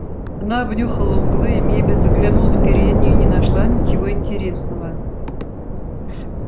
она обнюхала углы и мебель заглянула в переднюю и не нашла ничего интересного